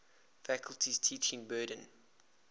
faculty's teaching burden